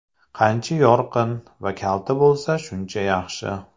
Qancha yorqin va kalta bo‘lsa, shuncha yaxshi.